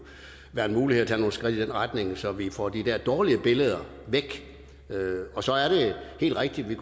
være muligt at tage nogle skridt i den retning så vi får de der dårlige billeder væk og så er det helt rigtigt at vi